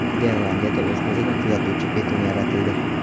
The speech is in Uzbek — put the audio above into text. Niderlandiyada o‘z-o‘zini tuzatuvchi beton yaratildi.